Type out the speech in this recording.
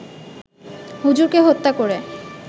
হুজুরকে হত্যা করে